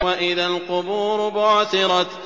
وَإِذَا الْقُبُورُ بُعْثِرَتْ